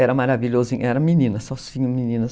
Era maravilhoso, era meninas, só meninas.